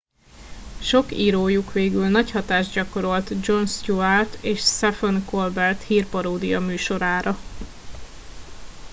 sok írójuk végül nagy hatást gyakorolt jon stewart és sephen colbert hírparódia műsorára